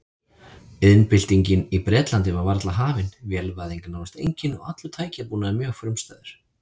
Iðnbyltingin í Bretlandi var varla hafin, vélvæðing nánast engin og allur tækjabúnaður mjög frumstæður.